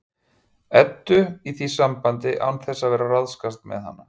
Eddu í því sambandi án þess að vera að ráðskast með hana.